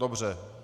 Dobře.